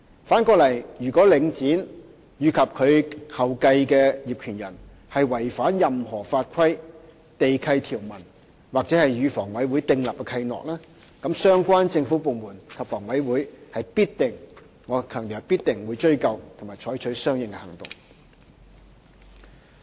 反過來說，如果領展及其後繼的業權人違反任何法規、地契條文或與房委會訂立的契諾，則相關政府部門及房委會必定——我強調是必定——追究及採取相應行動。